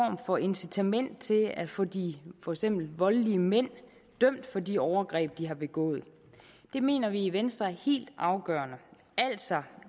for incitament til at få de for eksempel voldelige mænd dømt for de overgreb de har begået det mener vi i venstre er helt afgørende altså